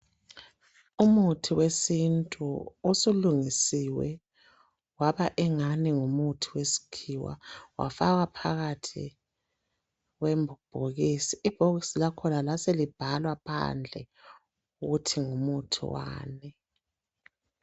Umuthi wesintu osulungisiwe waba engani ngumuthi wesikhiwa, wafakwa phakathi kwembhokisi, ibhokisi lakhona laselibhalwa phandle ukuthi ngumuthi wani